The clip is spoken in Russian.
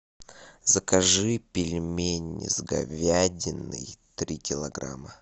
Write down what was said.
закажи пельмени с говядиной три килограмма